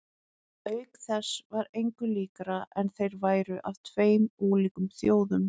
Auk þess var engu líkara en þeir væru af tveim ólíkum þjóðum.